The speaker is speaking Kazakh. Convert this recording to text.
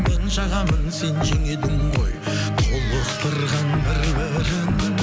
мен жағамын сен жең едің ғой толықтырған бір бірін